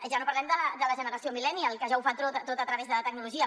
ja no parlem de la generació millennial que ja ho fa tot a través de la tecnologia